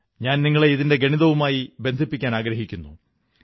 ഞാൻ നിങ്ങളെ ഇതിന്റെ ഗണിതവുമായി ബന്ധിപ്പിക്കാനാഗ്രഹിക്കുന്നു